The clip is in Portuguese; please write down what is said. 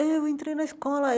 Eu entrei na escola.